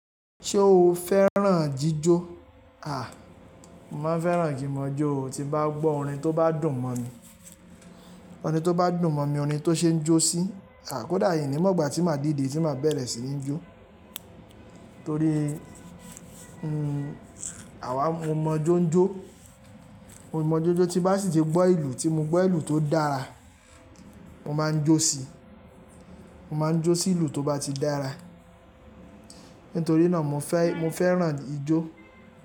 Ṣé o fẹ́ràn jíjó? Mo máa ń fẹ́ràn kín mọ̀ jó o, tí n bá gbọ́ orin tó bá dùn mọ̀ mi. Orin tó bá dùn mọ̀ mi, orin tó ṣe ń jó sí, kọ́dà n ní mọ̀ gbà tí máa dìde tí máa bẹ̀rẹ̀ sí ní jó. Torí, àwa mọ jó ń jó. Mọ ijó jó tí bá sì tí gbọ́ ìlú tí mo gbọ́ ìlú tó dára, mo máa ń jó sí, mo máa ń jó sí ìlú tó bá ti dára. Nítorí náà mo fẹ́, mo fẹ́ràn ijó.